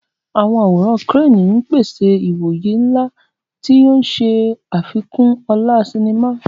Àwọn àwòrán crane ń pèsè ìwòye ńlá, tí ó ń ṣe àfikún ọlá sinimá.